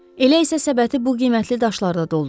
Elə isə səbəti bu qiymətli daşlarla doldururuq.